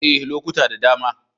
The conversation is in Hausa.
Ee, lokuta da dama.